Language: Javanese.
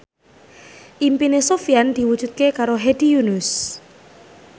impine Sofyan diwujudke karo Hedi Yunus